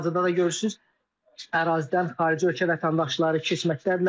Hazırda da görürsünüz ərazidən xarici ölkə vətəndaşları keçməkdədirlər.